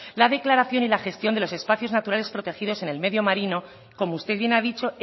la declaración y la gestión de los espacios naturales protegidos en el medio marino como usted bien ha dicho